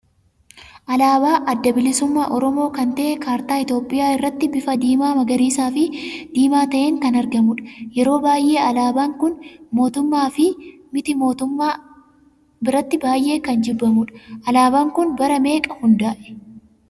Alaaba adda bilisumma oromoo kan ta'e kartaa Itoophiyaa irratti bifa diima, magariisa, fi diimaa ta'een kan argamudha. yeroo baay'ee alaabaan kun mootummaa fi mitii mootummaa biratti baay'ee kan jibbamudha. Alaabaan kun bara meeqa hunda'ee?